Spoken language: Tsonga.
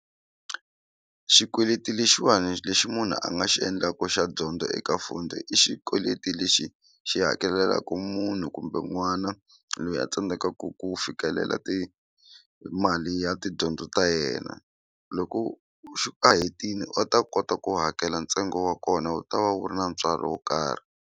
Xikweleti lexiwani lexi munhu a nga xi endlaku xa dyondzo eka Fundi i xikweleti lexi xi hakelelaku munhu kumbe n'wana loyi a tsandzekaku ku fikelela ti mali ya tidyondzo ta yena loko a hetini va ta kota ku hakela ntsengo wa kona wu ta va wu ri na ntswalo wo karhi.